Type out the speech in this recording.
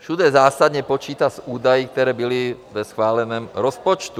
Všude zásadně počítá s údaji, které byly ve schváleném rozpočtu.